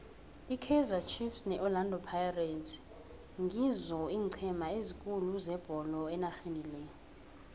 ikaizer chiefs ne orlando pirates ngizoeenceme ezikhulu zebolo enarheni le